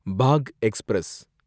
Bagh express